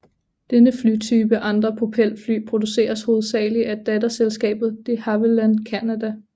Denne flytype og andre propelfly produceres hovedsaglig af datterselskabet de Havilland Canada